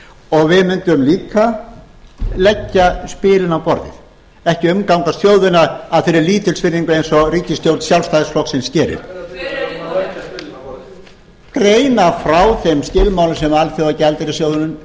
og við mundum líka leggja spilin á borðið ekki umgangast þjóðina af þeirri lítilsvirðingu eins og ríkisstjórn sjálfstæðisflokksins gerir greina frá þeim skilmálum sem alþjóðagjaldeyrissjóðurinn setur hvers vegna